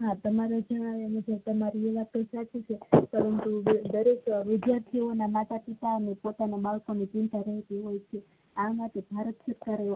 હા તમારો અને વિદ્યાર્થી ઓ ના માતા પિતા અને પોતાના બાળકો ની ચિંતા રહેતી હોય છે આ માટે ભારત